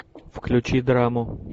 включи драму